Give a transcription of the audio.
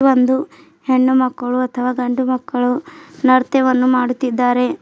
ಒಂದು ಹೆಣ್ಣು ಮಕ್ಕಳು ಅಥವಾ ಗಂಡು ಮಕ್ಕಳು ನೃತ್ಯವನ್ನು ಮಾಡುತ್ತಿದ್ದಾರೆ.